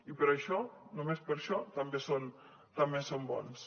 i per això només per això també són bons